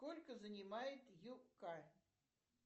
сколько занимает юкка